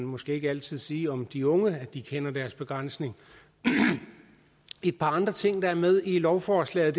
måske ikke altid sige om de unge at de kender deres begrænsning et par andre ting der er med i lovforslaget